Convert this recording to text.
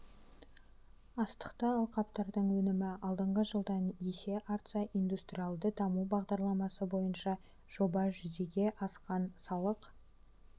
астықты алқаптардың өнімі алдыңғы жылдан есе артса индустриалды даму бағдарламасы бойынша жоба жүзеге асқан салық